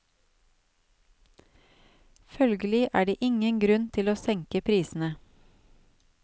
Følgelig er det ingen grunn til å senke prisene.